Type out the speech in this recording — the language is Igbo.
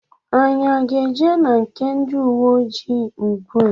Anyị aga eje na nke ndị ùwé ojii ugbua?